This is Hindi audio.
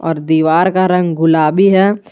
और दीवार का रंग गुलाबी है।